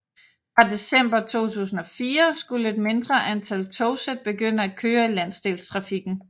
Fra december 2004 skulle et mindre antal togsæt begynde at køre i landsdelstrafikken